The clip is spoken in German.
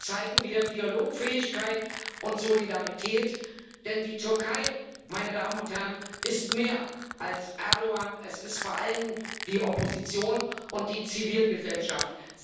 Zeigen wir Dialogfähigkeit und Solidarität, denn die Türkei, ist mehr als Erdoğan, es ist vor allem die Opposition und die Zivilgesellschaft.